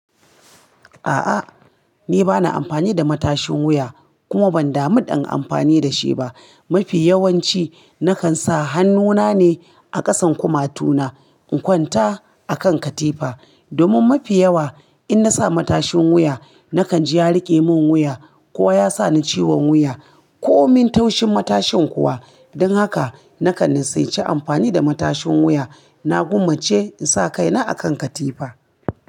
A'a, ni ba na amfani da matashin wuya kuma ban damu in amfani da shi ba. Mafi yawanci nakan sa hannuna ne a ƙasan kumatuna in kwanta a kan katifa. Domin mafi yawa in na sa matashin wuya nakan ji ya riƙe min wuya ko ya sa ni ciwon wuya ko min taushin matashin kuwa. Don haka nakan nissaanci amfani da matashin wuya. Na gwammace in sa kaina a kan katifa.